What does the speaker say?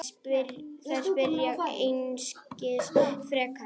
Þær spyrja einskis frekar.